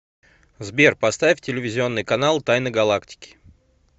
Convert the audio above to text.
сбер поставь телевизионный канал тайны галактики